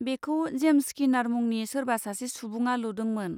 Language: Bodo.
बेखौ जेम्स स्किनार मुंनि सोरबा सासे सुबुंआ लुदोंमोन।